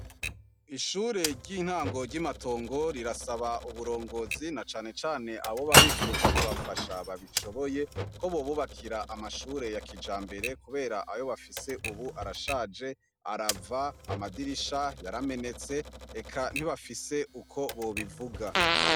Ishure ry'intango ry'Imatongo, rirasaba uburongozi na cane cane abona bifuza kubafasha babishoboye, ko bobubakira amashure ya kijambere kubera ayo bafise ubu arashaje, arava, amadirisha yaramenetse, eka ntibafise uko bobivuga.